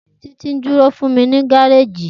Titi nduro fun mi ni gareji.